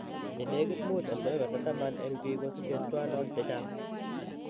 Chenegit 5.10% en biik kosiche schwannomas chechaang'.